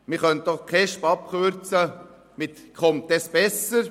Man könnte die KESB auch abkürzen mit «Kommt es besser?